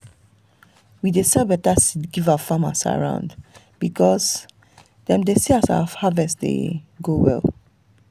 we dey sell better seed give farmers around because dem dey see as our harvest dey go well.